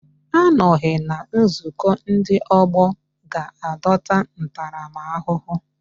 Anọghị na nzukọ ndị ọgbọ ga-adọta ntaramahụhụ